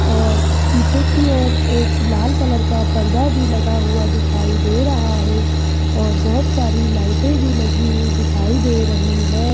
और पीछे की ओर एक लाल कलर का पर्दा भी लगा हुआ दिखाई दे रहा हैं और बहोत सारी लाइटे भी लगी हुई दिखाई दे रही हैं।